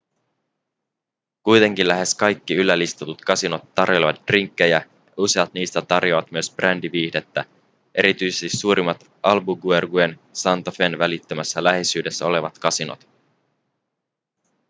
kuitenkin lähes kaikki yllä listatut kasinot tarjoilevat drinkkejä ja useat niistä tarjoavat myös brändiviihdettä erityisesti suurimmat albuquerquen ja santa fen välittömässä läheisyydessä olevat kasinot